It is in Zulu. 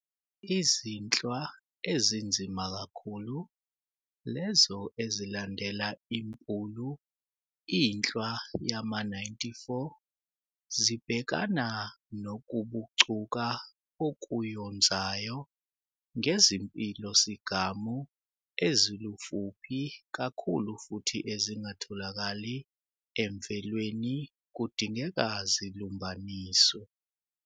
Izinhlwa ezinzima kakhulu, lezo ezilandela imPulu, inhlwa yama-94, zibhekana nokubucuka okuyonzayo ngezimpilo-sigamu ezilufuphi kakhulu futhi ezingatholakali emvelweni kudingeka zilumbaniswe.